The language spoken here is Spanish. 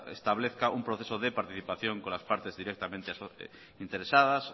establezca un proceso de participación con las partes directamente interesadas